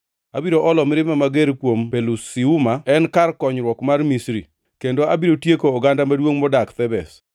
Abiro olo mirimba mager kuom Pelusiuma en kar konyruok mar Misri, kendo abiro tieko oganda maduongʼ modak Thebes.